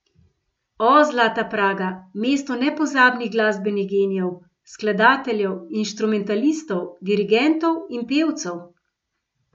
O, zlata Praga, mesto nepozabnih glasbenih genijev, skladateljev, instrumentalistov, dirigentov in pevcev!